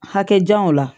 Hakɛjanw la